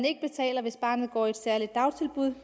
ikke betaler hvis barnet går i et særligt dagtilbud